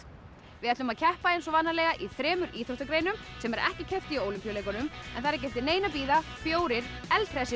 við ætlum að keppa eins og vanalega í þremur íþróttagreinum sem er ekki keppt í í Ólympíuleikunum það er ekki eftir neinu að bíða fjórir eldhressir